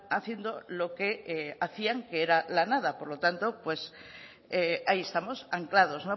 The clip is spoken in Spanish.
haciendo lo que hacían que era la nada por lo tanto ahí estamos anclados